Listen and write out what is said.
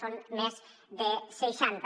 són més de seixanta